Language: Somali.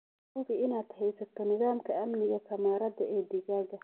Hubi inaad haysato nidaamka amniga kamarada ee digaagga.